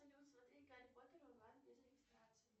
салют смотреть гарри поттер онлайн без регистрации